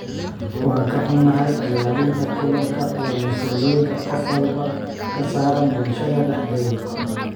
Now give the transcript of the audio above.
Waan ka xunnahay, ilaalinta kalluunka waa mas'uuliyadda qof walba ka saaran bulshada dhexdeeda.